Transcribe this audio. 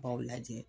B'aw lajɛ